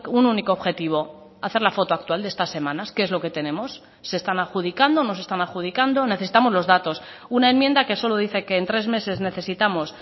un único objetivo hacer la foto actual de estas semanas qué es lo que tenemos se están adjudicando no se están adjudicando necesitamos los datos una enmienda que solo dice que en tres meses necesitamos